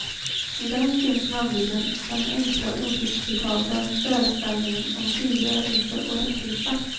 I den finns nämligen den enkla odisputabla föreställningen om frigörelse och rättvisa.